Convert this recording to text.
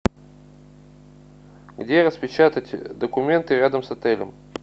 где распечатать документы рядом с отелем